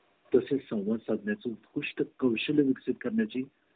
तसेच सौवाद सध्या ची कुष्ठ कौशल्य विकसित करण्याची